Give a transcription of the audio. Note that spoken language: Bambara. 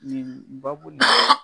Nin babu nin